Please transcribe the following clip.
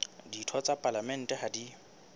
ditho tsa palamente ha di